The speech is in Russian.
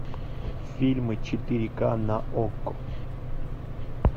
фильмы четыре ка на окко